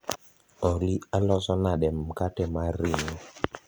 olly aloso nade mkate mar ringo